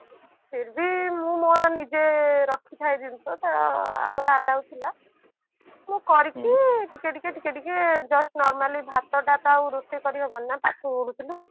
ଫିରଭି ମୁଁ ମୋର ନିଜେ ରଖିଥାଏ ଜିନିଷ ତ ଆମର allow ଥିଲା ମୁଁ କରିକି ଟିକେ ଟିକେ ଟିକେ ଟିକେ just normally ଭାତ ଟା ତ ଆଉ ରୋଷେଇ କରି ହବନି ପାଠ ପଢୁଥିଲୁ